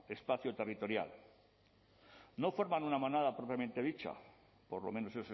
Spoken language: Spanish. espacio territorial no forman una manada propiamente dicha por lo menos